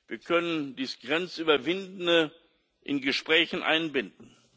Wir können dieses Grenz Überwindende in Gesprächen einbinden.